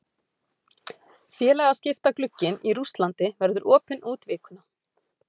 Félagaskiptaglugginn í Rússlandi verður opinn út vikuna.